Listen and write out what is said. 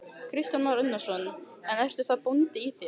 Kristján Már Unnarsson: En ertu þá bóndi í þér?